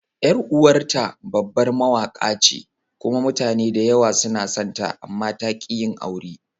Yar uwarta babbar Mawaƙa ce kuma mutane da yawa suna sonta, amma ta ƙi yin aure.